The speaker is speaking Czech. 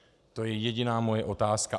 To je jediná moje otázka.